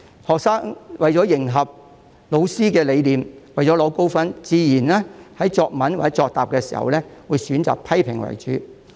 學生為了迎合老師的理念和取得高分，作答時自然會選擇以批評為主。